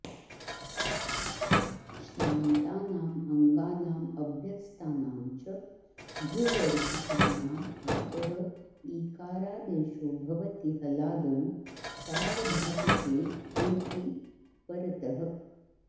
श्नान्तानाम् अङ्गानाम् अभ्यस्तानां च घुवर्जितानाम् आतः ईकारादेशो भवति हलादौ सार्वधातुके क्ङिति परतः